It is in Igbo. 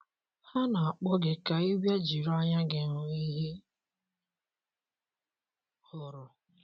Ha na - akpọ gị ka ị bịa jiri anya gị hụ ihe ha hụrụ.